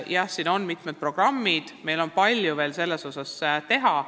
Jah, on olemas mitmed programmid, aga selleski osas on veel palju teha.